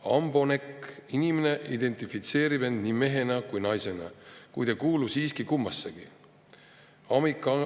Ambonec – inimene identifitseerib end nii mehena kui ka naisena, kuid ei kuulu siiski kummassegi.